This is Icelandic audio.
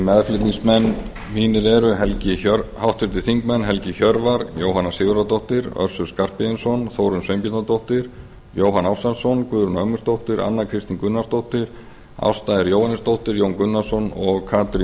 meðflutningsmenn mínir eru háttvirtir þingmenn helgi hjörvar jóhanna sigurðardóttir össur skarphéðinsson þórunn sveinbjarnardóttir jóhann ársælsson guðrún ögmundsdóttir anna kristín gunnarsdóttir ásta r jóhannesdóttir jón gunnarsson og katrín